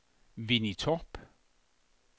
Winnie Torp